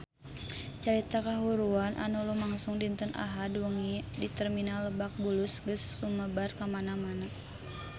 Carita kahuruan anu lumangsung dinten Ahad wengi di Terminal Lebak Bulus geus sumebar kamana-mana